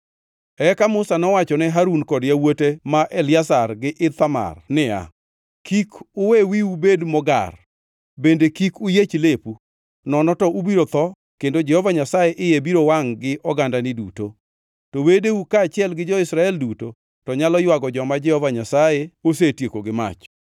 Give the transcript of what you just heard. Eka Musa nowacho ne Harun kod yawuote ma Eliazar gi Ithamar niya, “Kik uwe wiu bed mogar, bende kik uyiech lepu, nono to ubiro tho kendo Jehova Nyasaye iye biro wangʼ gi ogandani duto. To wedeu kaachiel gi jo-Israel duto to nyalo ywago joma Jehova Nyasaye osetieko gi mach.